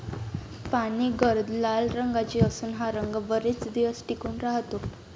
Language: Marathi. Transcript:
पाने गर्द लाल रंगाची असून हा रंग बरेच दिवस टिकून राहतो.